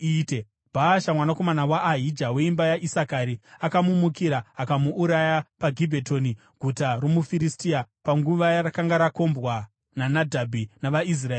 Bhaasha, mwanakomana waAhija, weimba yaIsakari, akamumukira, akamuuraya paGibhetoni guta romuFiristia, panguva yarakanga rakombwa naNadhabhi navaIsraeri vose.